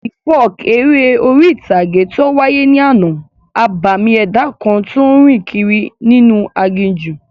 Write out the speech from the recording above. The folk eré orí-ìtàgé tó wáyé ní àná, abàmì ẹ̀dá kan tó n rìn kiri inú aginjù